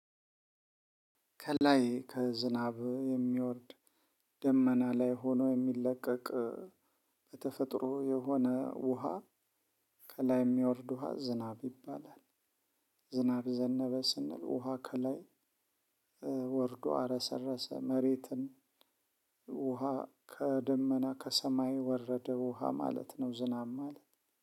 ከላይ ከዝናብ የሚወርድ ደመና ላይ ሆኖ የሚለቀቅ በተፈጥሮ የሆነ ውሃ ከላይ የሚያወርድ ውሃ ዝናብ ይባላል። ዝናብ ዘነበ ስንል ውሃ ከላይ ወርዶ አረሰረሰ መሬትን። ውሃ ከደመና ከሰማይ ወረደ ውሃ ማለት ነው። ዝናብ ማለት